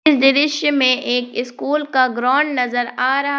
दृश्य में एक स्कूल का ग्राउंड नजर आ रहा--